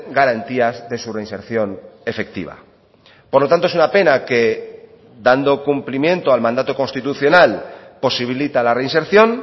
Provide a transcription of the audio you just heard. garantías de su reinserción efectiva por lo tanto es una pena que dando cumplimiento al mandato constitucional posibilita la reinserción